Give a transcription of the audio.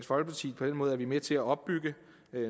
måde er vi med til at opbygge